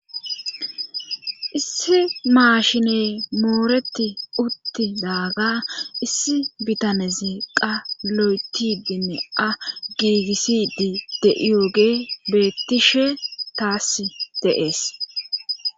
Issi maashiney mooreti uttidaaga issi bitanezi qa lo7etidinne a giigissidi de7iyooge bettishe taass deees